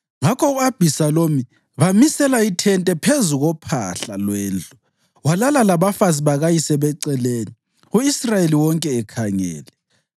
Ngakho u-Abhisalomu bamisela ithente phezu kophahla lwendlu, walala labafazi bakayise beceleni u-Israyeli wonke ekhangele.